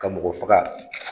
Ka mɔgɔ faga